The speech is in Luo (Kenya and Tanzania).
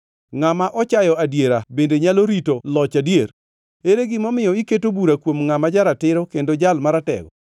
Ngʼama ochayo adiera bende nyalo rito loch adier? Ere gimomiyo iketo bura kuom ngʼama ja-ratiro kendo Jal Maratego?